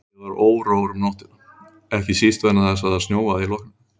Ég var órór um nóttina, ekki síst vegna þess að það snjóaði í logninu.